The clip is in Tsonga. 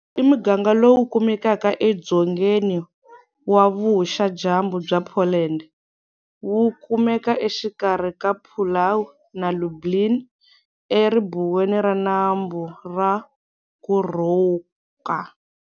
I muganga lowu kumekaka e Dzongeni wa vuxa dyambu bya Poland, wu kumeka exikarhi ka Puławy na Lublin, e ribuweni ra nambu wa Kurówka.